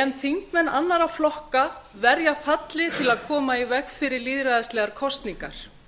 en þingmenn annarra flokka verja falli til að koma í veg fyrir lýðræðislegar kosningar